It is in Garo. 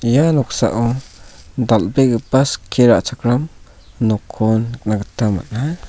ia noksao dal·begipa skie ra·chakram nokko nikna gita man·a.